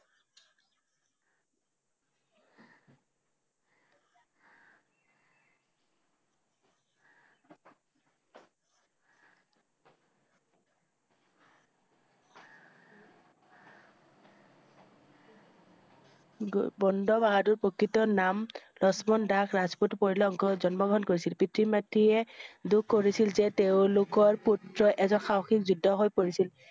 গ ~বন্দা বাহাদুৰ ৰ প্ৰকৃত নাম লক্ষ্মণ দাস ৰাজপুতৰ পৰিয়ালত জন্ম গ্ৰহণ কৰিছিল পিতৃ মাতৃয়ে দুখ কৰিছিল যে তেওঁ~লোকৰ পুত্ৰ এজন সাহসী যোদ্ধা হৈ পৰিছিল।